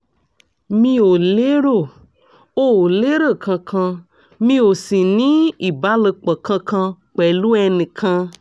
mi ò lérò ò lérò kankan mi ò sì ní ìbálòpọ̀ kankan pẹ̀lú ẹnì kan